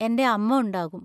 എന്‍റെ അമ്മ ഉണ്ടാകും.